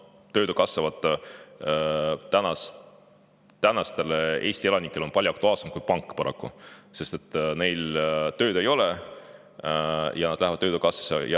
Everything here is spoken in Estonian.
Töötukassa on Eesti elanikele palju aktuaalsem kui pank, paraku, sest neil ei ole tööd ja nad lähevad töötukassasse.